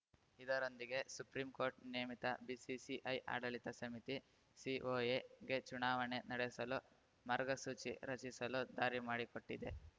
ಇದರೊಂದಿಗೆ Supreme Court ನೇಮಿತ BCCI ಆಡಳಿತ ಸಮಿತಿಸಿಒಎಗೆ ಚುನಾವಣೆ ನಡೆಸಲು ಮಾರ್ಗಸೂಚಿ ರಚಿಸಲು ದಾರಿ ಮಾಡಿಕೊಟ್ಟಿದೆ